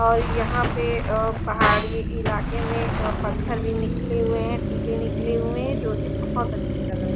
और यहां पे अ पहाड़ी इलाके में अ पत्थर भी निकले हुए हैं टीले निकले हुए है जो की बहोत अच्छे लग रहे--